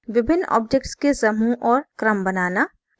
विभिन्न objects के समूह और क्रम बनाना